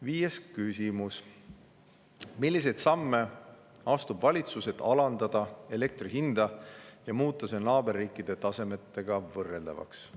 Viies küsimus: "Milliseid samme astub valitsus, et alandada elektrihinda ja muuta see naaberriikide tasemega võrreldavaks?